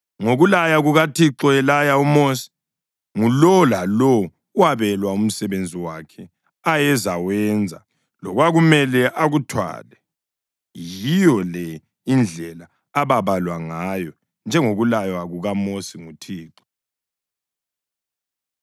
Ngokulaya kukaThixo elaya uMosi, ngulowo lalowo wabelwa umsebenzi wakhe ayezawenza lokwakumele akuthwale. Yiyo le indlela ababalwa ngayo, njengokulaywa kukaMosi nguThixo.